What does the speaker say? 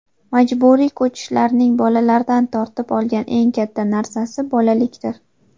Majburiy ko‘chishlarning bolalardan tortib olgan eng katta narsasi bolalikdir.